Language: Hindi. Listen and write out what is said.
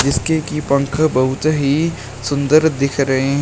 इसके की पंख बहुत ही सुंदर दिख रहे--